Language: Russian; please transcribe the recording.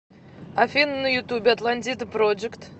афина на ютубе атлантида проджект